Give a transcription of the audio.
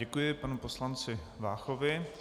Děkuji panu poslanci Váchovi.